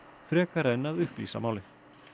frekar en að upplýsa málið